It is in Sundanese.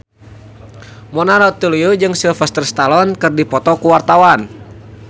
Mona Ratuliu jeung Sylvester Stallone keur dipoto ku wartawan